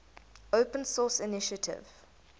open source initiative